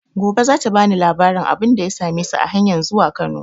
Gobe za ta ba ni labarin abin da ya same su a hanyan zuwa Kano.